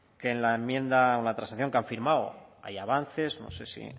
que en la enmienda una transacción que han firmado hay avances no sé si